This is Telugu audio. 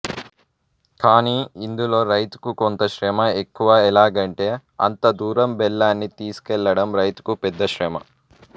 కాని ఇందులో రైతుకు కొంత శ్రమ ఎక్కువ ఎలాగంటే అంత దూరం బెల్లాన్ని తీసుకెళ్లడం రైతుకు పెద్ద శ్రమ